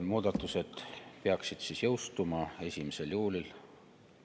Muudatused peaksid jõustuma tänavu 1. juulil.